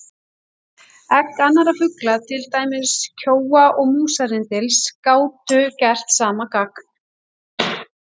Egg annarra fugla, til dæmis kjóa og músarrindils, gátu gert sama gagn.